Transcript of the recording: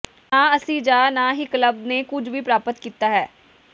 ਨਾ ਅਸੀਂ ਜਾਂ ਨਾ ਹੀ ਕਲੱਬ ਨੇ ਕੁਝ ਵੀ ਪ੍ਰਾਪਤ ਕੀਤਾ ਹੈ